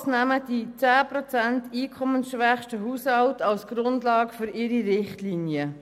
Die SKOS nimmt die 10 Prozent einkommensschwächsten Haushalte als Grundlage für ihre Richtlinien.